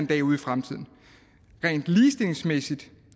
dag ude i fremtiden rent ligestillingsmæssigt